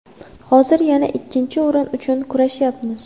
Hozir yana ikkinchi o‘rin uchun kurashayapmiz.